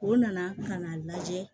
U nana ka na lajɛ